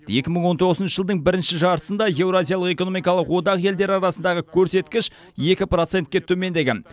екі мың он тоғызыншы жылдың бірінші жартысында еуразиялық экономикалық одақ елдері арасындағы көрсеткіш екі процентке төмендеген